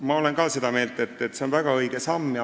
Ma olen ka seda meelt, et see on väga õige samm.